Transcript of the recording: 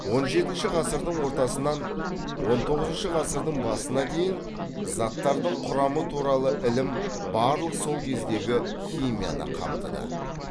он жетінші ғасырдың ортасынан он тоғызыншы ғасырдың басына дейін заттардың құрамы туралы ілім барлық сол кездегі химияны қамтыды